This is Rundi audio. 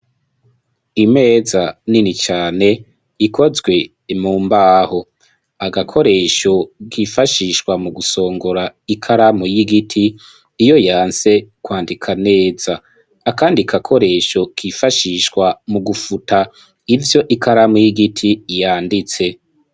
Imeza nini cane ikozwe mumbaho .Agakoresho kifashishwa mu gusongora ikaramu y'igiti iyo yanse kwandika neza .Akandi kakoresho kifashishwa mu gufuta ivyo ikaramu y'igiti yanditse.